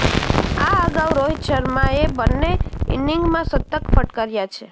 આ અગાઉ રોહિત શર્માએ બન્ને ઇનીંગમાં શતક ફટકાર્યા છે